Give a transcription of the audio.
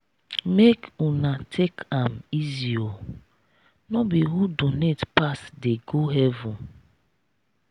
make una take am easy oo no be who donate pass dey go heaven.